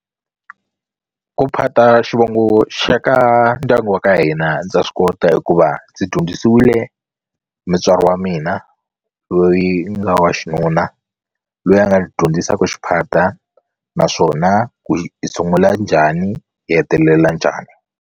Ku phata xivongo xa ka ndyangu wa ka hina ndza swi kota hikuva ndzi dyondzisiwile mutswari wa mina loyi nga wa xinuna loyi a nga dyondzisaka xiphata naswona ku sungula njhani hi hetelela njhani.